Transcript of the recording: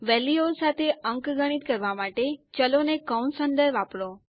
વેલ્યુઓ સાથે અંકગણિત કરવા માટે ચલો ને કૌંસ અંદર વાપરો